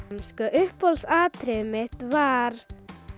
uppáhalds atriðið mitt var